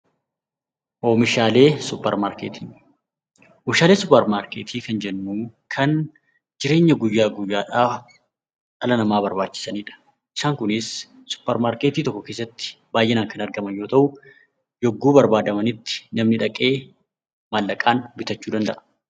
Oomishaalee suuppramarkeetii. Oomishaalee suuppramarkeetii kan jennuu kan jireenya guyyaa guyyaadhaa dhala namaa barbaachisanidha. Isaan kunis suupparmarkeetii tokko keessatti baay'inaan kan argaman yoo ta'u yogguu barbaadamanitti namni dhaqee maallaqaan bitachuu danda'a.